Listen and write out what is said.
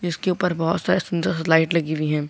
उसके ऊपर बहोत सारे सुंदर सी लाइट लगी हुई है।